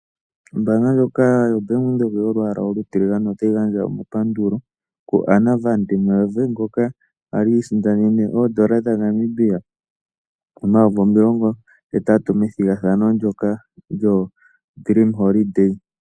Ombanga ndjoka yoBank Windhoek yolwaala olutiligane otayi gandja omapandulo kuAnna van Der Merwe ngoka ali isindanene oodollar dhaNamibia omayovi omilongo hetatu, methigathano ndyono lyodream holiday.